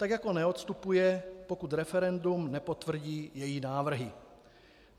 Tak jako neodstupuje, pokud referendum nepotvrdí její návrhy.